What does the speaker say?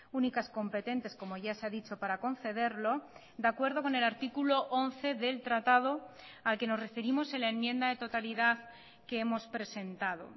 únicas competentes como ya se ha dicho para concederlo de acuerdo con el artículo once del tratado al que nos referimos en la enmienda de totalidad que hemos presentado